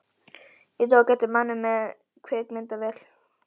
Ég tók eftir manni með kvikmyndavél.